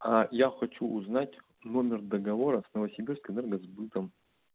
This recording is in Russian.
а я хочу узнать номер договора с новосибирскэнергосбыта